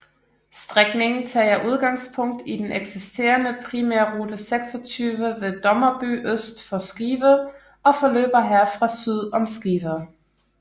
Strækningen tager udgangspunkt i den eksisterende Primærrute 26 ved Dommerby øst for Skive og forløber herfra syd om Skive